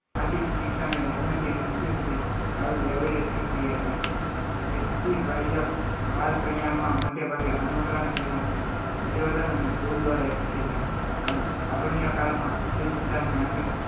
આથી શિક્ષાને જન્મથી મૃત્યુ સુધી ચાલતી એવી જ પ્રક્રિયા છે વ્યક્તિ બાહ્ય બાલ કલ્યાણમાં મોટેભાગે અનુકરણ તેમજ પરિવર્તન અને ફુલ દ્વારા શીખે છે